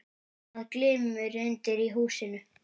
Það glymur undir í húsinu.